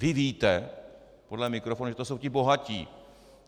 Vy víte podle mikrofonu, že to jsou ti bohatí.